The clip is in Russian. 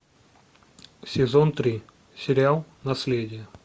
сезон три сериал наследие